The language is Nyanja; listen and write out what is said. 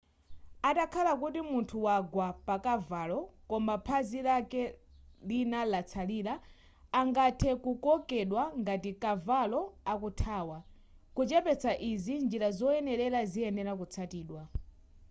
atakhala kuti munthu wagwa pa kavalo koma phazi lake lina latsalira angathe kukokedwa ngati kavalo akuthawa kuchepetsa izi njira zoyenera ziyenera kutsatidwa